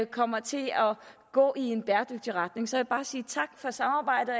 kommer til at gå i en bæredygtig retning så jeg vil bare sige tak for samarbejdet